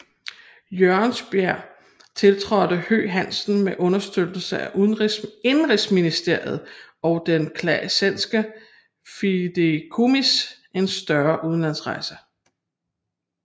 Jørgensbjerg tiltrådte Høegh Hansen med understøttelse af Indenrigsministeriet og det Classenske Fideikommis en større udlandsrejse